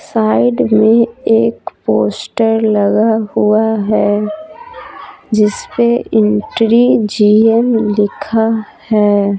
Side में एक poster लगा हुआ है जिस पे एंट्री जी एम लिखा है।